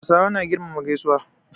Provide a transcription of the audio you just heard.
Hausawa na girmama gaisuwa.